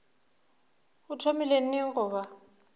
o thomile neng go ba